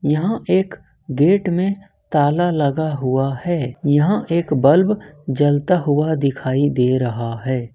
यहां एक गेट में ताला लगा हुआ है यहां एक बल्ब जलता हुआ दिखाई दे रहा है।